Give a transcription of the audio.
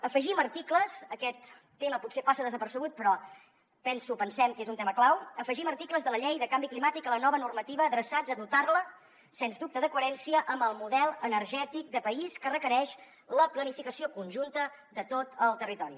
afegim articles aquest tema potser passa desapercebut però penso pensem que és un tema clau de la llei de canvi climàtic a la nova normativa adreçats a dotar la sens dubte de coherència amb el model energètic de país que requereix la planificació conjunta de tot el territori